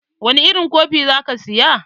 Wani irin kofi za ki saya?